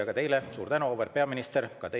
Ka teile suur tänu, auväärt peaminister!